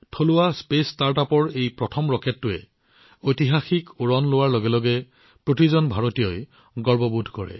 থলুৱা স্পেচ ষ্টাৰ্টআপৰ এই প্ৰথম ৰকেটটোৱে শ্ৰীহৰিকোটাৰ পৰা এক ঐতিহাসিক উৰণ কৰাৰ লগে লগে প্ৰতিজন ভাৰতীয়ৰ হৃদয় গৌৰৱেৰে ফুলি উঠিছিল